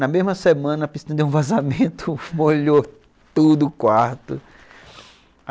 Na mesma semana, a piscina deu um vazamento, molhou tudo, o quarto.